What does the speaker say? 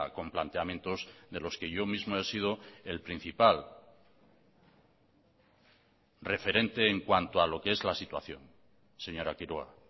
con planteamientos de los que yo mismo he sido el principal referente en cuanto a lo que es la situación señora quiroga